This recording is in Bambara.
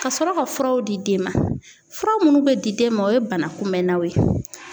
Ka sɔrɔ ka furaw di den ma fura munnu be di den ma, o ye bana kunbɛnnaw ye.